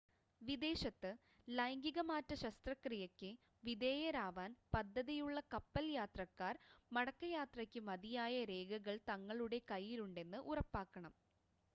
വിദേശത്ത് ലൈംഗികമാറ്റ ശസ്ത്രക്രിയക്ക് വിധേയരാവാൻ പദ്ധതിയുള്ള കപ്പൽ യാത്രക്കാർ മടക്കയാത്രയ്ക്ക് മതിയായ രേഖകൾ തങ്ങളുടെ കയ്യിലുണ്ടെന്ന് ഉറപ്പാക്കണം